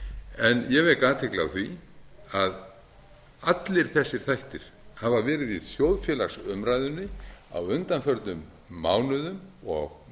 en ég vek athygli á því að allir þessir þættir hafa verið í þjóðfélagsumræðunni á undanförnum mánuðum og